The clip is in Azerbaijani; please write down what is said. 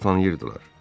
Yolu tanıyırdılar.